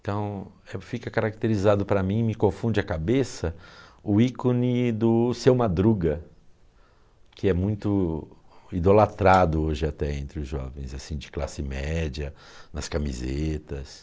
Então, fica caracterizado para mim, me confunde a cabeça, o ícone do Seu Madruga, que é muito idolatrado hoje até entre os jovens, assim, de classe média, nas camisetas.